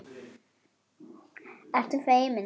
Ertu feimin?